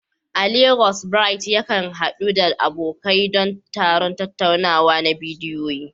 A Legas, Bright yakan haɗu da abokai don taron tattaunawa na bidiyo.